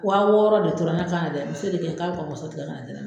Wa wɔɔrɔ de tora ne kan na dɛ muso de kan ɲɛ ka bi tikɛ ka na di ne ma.